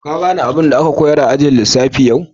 Ka gane abin da an koyars a'ajin lissafi yau?